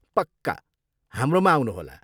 पक्का! हाम्रोमा आउनुहोला।